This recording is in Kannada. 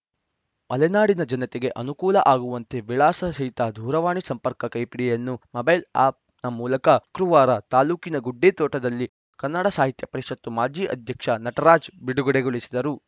ಮಲೆನಾಡಿನ ಜನತೆಗೆ ಅನುಕೂಲ ಆಗುವಂತೆ ವಿಳಾಸ ಸಹಿತ ದೂರವಾಣಿ ಸಂಪರ್ಕ ಕೈಪಿಡಿಯನ್ನು ಮೊಬೈಲ್‌ ಆಪ್‌ನ ಮೂಲಕ ಶುಕ್ರವಾರ ತಾಲೂಕಿನ ಗುಡ್ಡೇತೋಟದಲ್ಲಿ ಕನ್ನಡ ಸಾಹಿತ್ಯ ಪರಿಷತ್ತು ಮಾಜಿ ಅಧ್ಯಕ್ಷ ನಟರಾಜ್‌ ಬಿಡುಗಡೆಗೊಳಿಸಿದರು